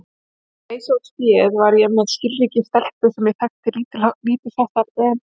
Til að leysa út féð var ég með skilríki stelpu sem ég þekkti lítilsháttar en